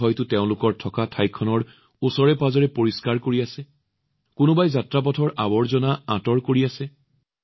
কোনোবাই তেওঁলোকৰ থকা স্থান পৰিষ্কাৰ কৰি আছে কোনোবাই ভ্ৰমণ পথৰ পৰা আৱৰ্জনা পৰিষ্কাৰ কৰি আছে